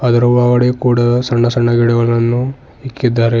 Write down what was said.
ಇದರ ಒಳಗಡೆ ಕೂಡ ಸಣ್ಣ ಸಣ್ಣ ಗಿಡಗಳನ್ನು ಇಕ್ಕಿದ್ದಾರೆ.